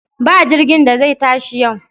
Ba jirgin da zai tashi yau!